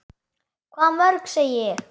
Hvað mörg, segi ég.